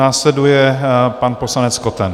Následuje pan poslanec Koten.